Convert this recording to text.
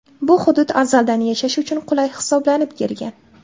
Bu hudud azaldan yashash uchun qulay hisoblanib kelgan.